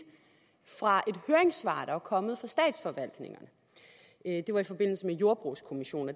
fra et høringssvar der var kommet fra statsforvaltningerne det var i forbindelse med jordbrugskommissionen